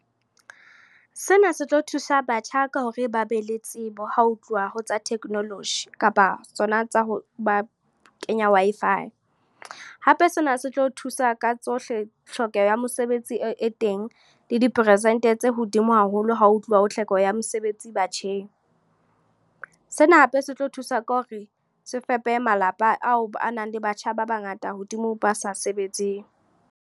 Sena se tlo thusa batjha ka hore ba be le tsebo, ha ho tluwa ho tsa technology. Kapa tsona tsa ho ba kenya Wi-Fi. Hape sena se tlo thusa ka tsohle tlhokeho ya mosebetsi e teng le diperesente tse hodimo haholo ha ho tluwa ho tlhoko ya mesebetsi batjheng. Sena hape se tlo thusa ka hore se fepe malapa ao a nang le batjha ba bangata hodimo ba sa sebetseng.